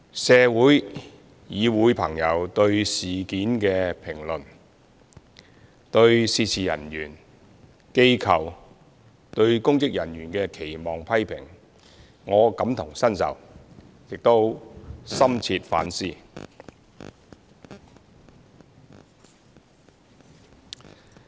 社會、議會朋友對事件的評論，以及對涉事人員、機構、公職人員的期望和批評，我感同身受，亦深切反思。